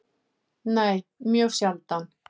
Nei, mjög sjaldan.